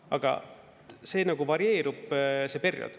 Aga see nagu varieerub, see periood.